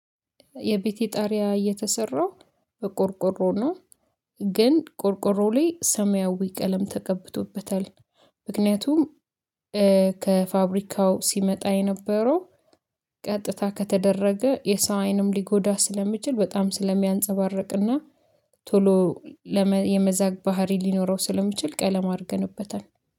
የቤቴ ጣሪያ የተሰራው በቆርቆሮ ነው። ግን ቆርቆሮው ላይ ሰማያዊ ቀለም ተቀብቶበታል። ምክንያቱም ከፋብሪካው ሲመጣ የነበረው ቀጥታ ከተደረገ የሰው አይንም ሊጎዳ ስለሚችል በጣም ስለሚያንፀባርቅና ቶሎ ለመዛ የመዛግ ባህሪ ሊኖረው ስለሚችል ቀለም አርገንበታል